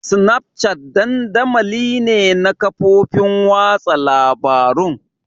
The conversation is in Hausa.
Snapchat dandamali ne na kafofin watsa labarun.